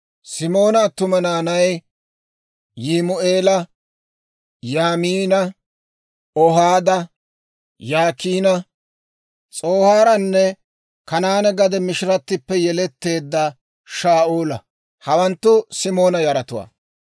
Simoona attuma naanay, Yimu'eela, Yaamiina, Ohaada, Yaakiina, S'oohaaranne Kanaane gade mishirattippe yeletteedda Shaa'ula; hawanttu Simoona yaratuwaa.